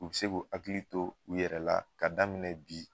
U bi sek'u hakili to u yɛrɛ la ka daminɛ bi